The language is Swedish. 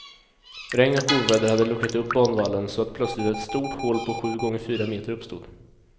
Regn och oväder hade luckrat upp banvallen så att plötsligt ett stort hål på sju gånger fyra meter uppstod.